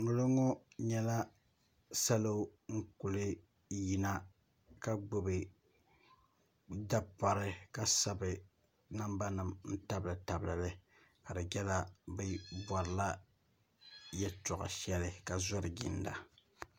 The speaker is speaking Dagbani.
ŋɔ looŋɔ nyɛla salo n-kuli yina ka gbubi dapɔri ka sabi nambanima n-tabilitabili li ka di nyɛla bɛ bɔrila yɛltɔɣa shɛli ka zɔri ginda